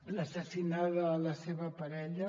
l’ha assassinada la seva parella